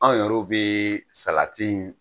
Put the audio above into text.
Anw yɛrɛw bɛ salati